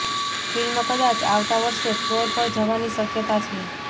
film કદાચ આવતા વર્ષે ફલોર પર જવાની શકયતા છે